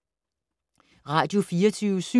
Radio24syv